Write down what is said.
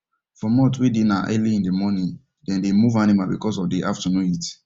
for month wen dey na early in the morning them dey move animal because of the afternoon heat